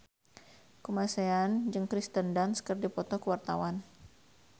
Kamasean jeung Kirsten Dunst keur dipoto ku wartawan